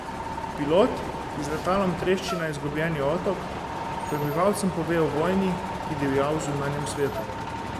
Pilot, ki z letalom trešči na izgubljeni otok, prebivalcem pove o vojni, ki divja v zunanjem svetu.